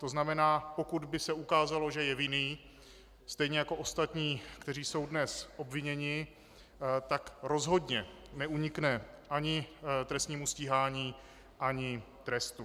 To znamená, pokud by se ukázalo, že je vinný, stejně jako ostatní, kteří jsou dnes obviněni, tak rozhodně neunikne ani trestnímu stíhání, ani trestu.